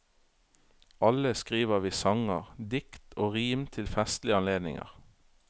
Alle skriver vi sanger, dikt og rim til festlige anledninger.